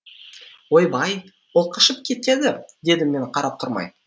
ойбай ол қашып кетеді дедім мен қарап тұрмай